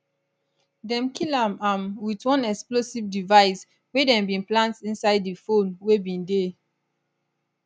dem kill am am wit one explosive device wey dem bin plant inside di phone wey bin dey